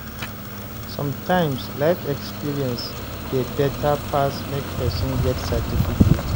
Sometimes life experience dey better pass make person get certificate